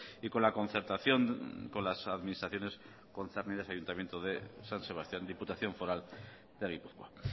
y con la concertación con las administraciones concernidas ayuntamiento de san sebastián diputación foral de gipuzkoa